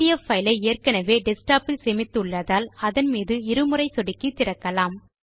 PDF file ஐ ஏற்கெனவே desktop இல் சேமித்து உள்ளதால் அதன் மீது இரு முறை சொடுக்கி திறக்கலாம்